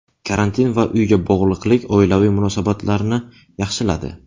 Karantin va uyga bog‘liqlik oilaviy munosabatlarni yaxshiladi.